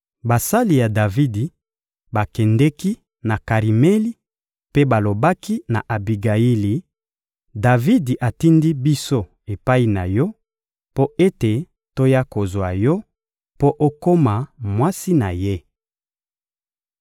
Basali ya Davidi bakendeki na Karimeli mpe balobaki na Abigayili: — Davidi atindi biso epai na yo mpo ete toya kozwa yo mpo okoma mwasi na ye.